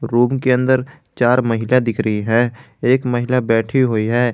Room के अंदर चार महिला दिख रही है एक महिला बैठी हुई है।